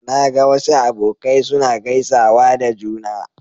Na ga wasu abokai suna gaisawa da juna.